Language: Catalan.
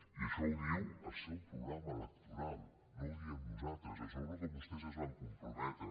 i això ho diu el seu programa electoral no ho diem nosaltres això és al que vostès es van comprometre